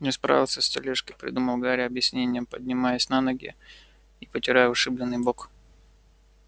не справился с тележкой придумал гарри объяснение поднимаясь на ноги и потирая ушибленный бок